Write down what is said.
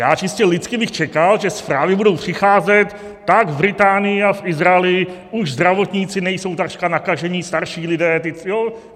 Já čistě lidsky bych čekal, že zprávy budou přicházet: tak v Británii a v Izraeli už zdravotníci nejsou takřka nakažení, starší lidé...